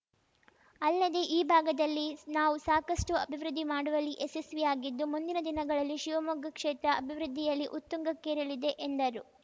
ಅಲ್ಲದೇ ಈ ಭಾಗದಲ್ಲಿ ನಾವು ಸಾಕಷ್ಟುಅಭಿವೃದ್ಧಿ ಮಾಡುವಲ್ಲಿ ಯಶಸ್ವಿಯಾಗಿದ್ದು ಮುಂದಿನ ದಿನಗಳಲ್ಲಿ ಶಿವಮೊಗ್ಗ ಕ್ಷೇತ್ರ ಅಭಿವೃದ್ಧಿಯಲಿ ಉತ್ತುಂಗಕ್ಕೇರಲಿದೆ ಎಂದರು